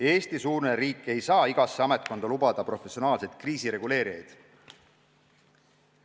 Eesti-suurune riik ei saa igasse ametkonda tööle võtta professionaalseid kriisireguleerijaid.